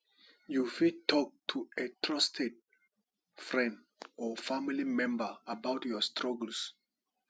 you fit talk to a trusted friend or family member about your struggles